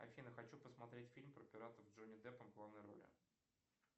афина хочу посмотреть фильм про пиратов с джонни деппом в главной роли